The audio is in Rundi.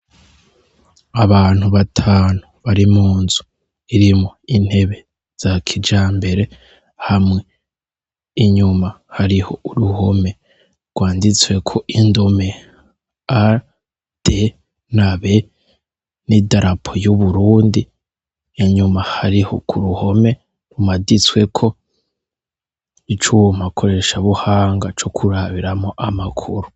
Abantu batanu bari munzu irimwo intebe za kijambere, hamwe inyuma hariho uruhome rwanditsweko indome A,D,B n'idarapo y'u Burundi, inyuma hariho k'uruhome rumaditsweko icuma koresha buhanga co kurabiramwo amakuru.